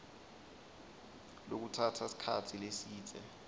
lokutsatsa sikhatsi lesidze